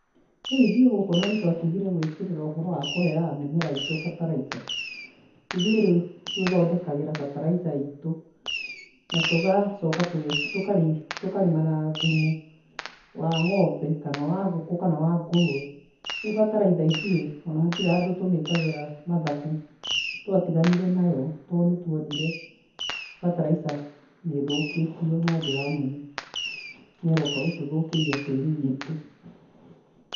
Rĩu ithuĩ gũkũ na nĩtwatigire gwĩkĩrĩra ũhoro wa kũheaga mĩmera itũ bataraitha. Ithuĩ rĩũ twĩthondekagĩra bataraitha itũ, na tũgacoka tũge tũkarĩ tũkarĩma na thumu wa ng'ombe kana wa ngũkũ kana wa ngũrũwe. Rĩu bataraitha ithuĩ ona hatirĩ handũ tũmikagĩra mathabu nĩtwatiganire nayo tondũ nĩtwonire bataraitha nĩ ĩthũkĩtio na njĩra nene naĩroka gũtũthũkĩria tĩri witũ.